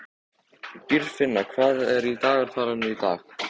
Dýrfinna, hvað er á dagatalinu í dag?